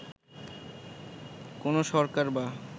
কোন সরকার বা